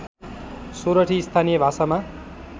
सोरठी स्थानीय भाषामा